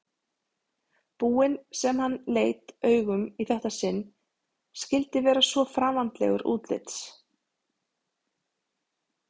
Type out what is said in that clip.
búinn sem hann leit augum í þetta sinn skyldi vera svo framandlegur útlits.